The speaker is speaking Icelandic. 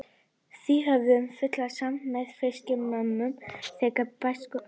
Því höfum við fulla samúð með Fylkismönnum þegar við bætist aukaferð.